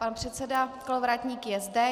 Pan předseda Kolovratník je zde.